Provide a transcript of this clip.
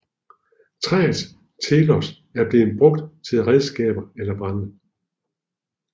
Træets telos er at blive brugt til redskaber eller brænde